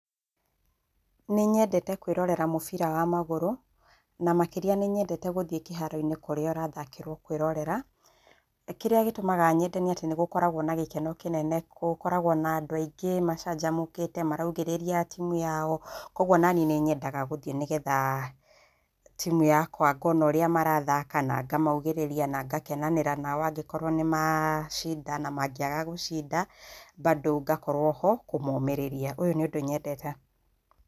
Nĩnyendete kwĩrorera mũbira wa magũrũ na makĩrĩa nĩnyendete gũthiĩ kĩharo-inĩ kũrĩa ũrathakĩrwo kwĩrorera. Kĩrĩa gĩtũmaga nyende nĩ atĩ nĩgũkoragwo na gĩkeno kĩnene, gũkoragwo na andũ aingĩ macanjamũkĩte, maraugĩrĩria timu ya o, kogwo naniĩ nĩnyendaga gũthiĩ nĩgetha timu yakwa ngona ũrĩa marathaka, nangamaugĩrĩria na ngakenanĩra na o angĩkorwo nĩmacinda na mangĩaga gũcinda bado ngakorwo ho kũmomĩrĩria, ũyũ nĩ ũndũ nyendete.